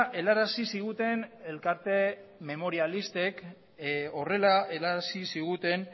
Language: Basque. helarazi ziguten elkarte memorialistek horrela helarazi ziguten